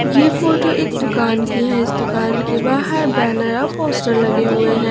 ये फोटो एक दुकान की है इस दुकान के बाहर बैनर व पोस्टर लगे हुए हैं।